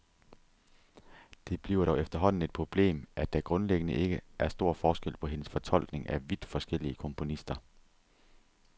Det bliver dog efterhånden et problem, at der grundlæggende ikke er stor forskel på hendes fortolkning af vidt forskellige komponister.